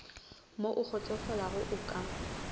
mo o kgotsofalago o ka